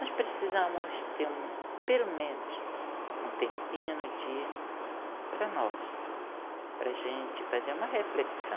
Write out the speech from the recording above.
Nós precisamos ter um pelo menos um tempinho no dia para nós, para a gente fazer uma reflexão.